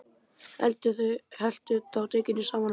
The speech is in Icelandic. Helltu þá edikinu saman við.